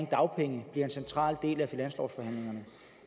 dagpenge bliver en central del af finanslovsforhandlingerne